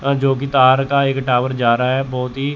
अ जो कि तार का एक टावर जा रहा है बहोत ही--